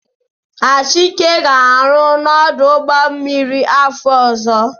Achike ga-arụ n'ọdụ ụgbọmmiri afọ ọzọ.